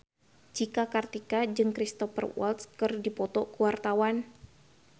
Cika Kartika jeung Cristhoper Waltz keur dipoto ku wartawan